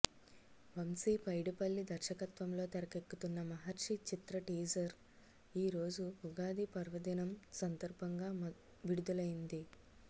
వంశీ పైడిపల్లి దర్శకత్వంలో తెరకెక్కుతున్న మహర్షి చిత్ర టీజర్ ఈ రోజు ఉగాది పర్వదినం సందర్భంగా విడుదలైంది